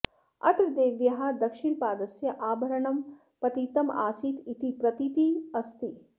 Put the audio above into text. अत्र देव्याः दक्षिणपादस्य आभरणं पतितम् आसीत् इति प्रतीतिः अस्ति